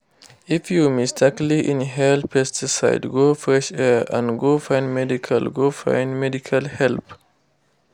if you mistakenly inhale pesticide go fresh air and go find medical go find medical help.